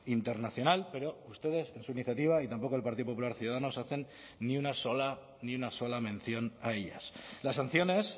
internacional pero ustedes en su iniciativa y tampoco el partido popular ciudadanos hacen ni una sola ni una sola mención a ellas las sanciones